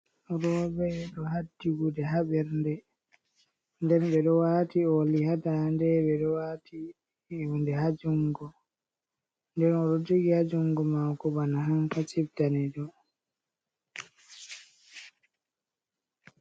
Roɓe ɗo haddi gude ha bernde, nden ɓe ɗo wati oli ha dande ɓe ɗo wati hunde ha jungo, nden o ɗo jogi ha jungo mako bana hankacif danejum.